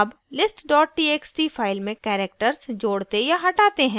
add list txt file में characters जोड़ते या हटाते हैं